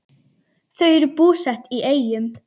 Þau eru búsett í Eyjum.